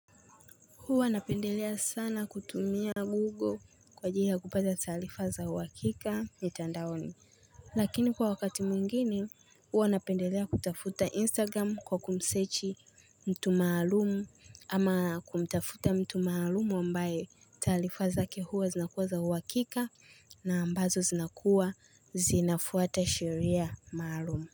Huwa napendelea sana kutumia Google kwa ajili kupata taarifa za uhakika mitandaoni. Lakini kwa wakati mwingine huwa napendelea kutafuta Instagram kwa kumsechi mtu maalum ama kumtafuta mtu maalum ambaye taarifa zake huwa zinakuwa za uhakika na ambazo zinakuwa zinafuata sheria maalum.